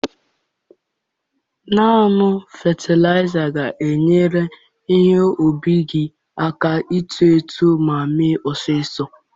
Ńnú fetilaịza ga-enyere ihe ubi gị aka ito eto ma mịe ọsịsọ